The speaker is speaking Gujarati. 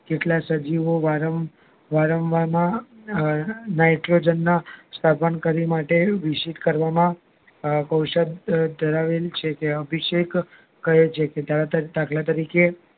કેટલાય સજીવો વારંવાર માં Nitrogen ના માં શ્વસનકરી માટે વિષિત કરવામાં અમ કોષો ધરાવે છે તેઓ અભિષેક કરે દાખલા તરીકે